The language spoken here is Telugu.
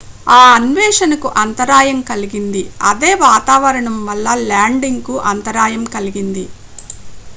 ఆ అన్వేషణ కు అంతరాయం కలిగింది అదే వాతావరణం వల్ల ల్యాండింగ్ కు అంతరాయం కలిగింది